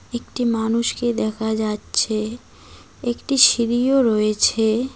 একটি মানুষকে দেখা যাচ্ছে একটি সিঁড়িও রয়েছে।